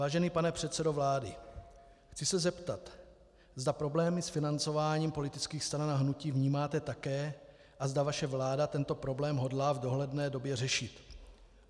Vážený pane předsedo vlády, chci se zeptat, zda problémy s financováním politických stran a hnutí vnímáte také a zda vaše vláda tento problém hodlá v dohledné době řešit.